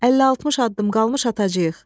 50-60 addım qalmış atacağıq.